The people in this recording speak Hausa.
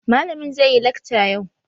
Malamin zai yi lakca yau.